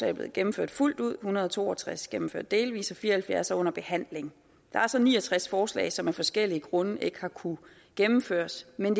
er blevet gennemført fuldt ud en hundrede og to og tres gennemført delvis og fire og halvfjerds under behandling der er så ni og tres forslag som af forskellige grunde ikke har kunnet gennemføres men